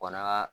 Bana